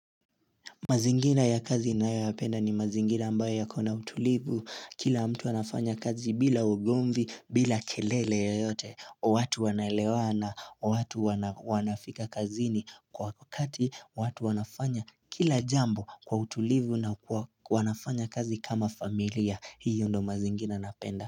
Mazingina ya kazi ninayoyapenda ni mazingina ambayo ya kona utulivu Kila mtu anafanya kazi bila ugomvi, bila kelele yeyote watu wanaelewa na watu wanafika kazini kwa wakati watu wanafanya kila jambo kwa utulivu na wanafanya kazi kama familia Hio ndo mazingina napenda.